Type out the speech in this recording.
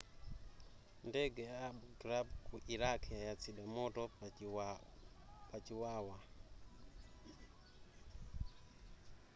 ndende ya abu ghraib ku iraq yayatsidwa moto pa chiwawa